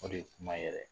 O de ye kuma yɛrɛ ye